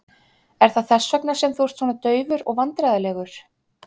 Er það þess vegna sem þú ert svona daufur og vandræðalegur?